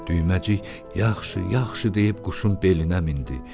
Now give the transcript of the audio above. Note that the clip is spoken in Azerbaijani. Düyməcik, yaxşı, yaxşı deyib quşun belinə mindi.